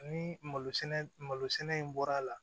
Ni malo sɛnɛ malo sɛnɛ in bɔra a la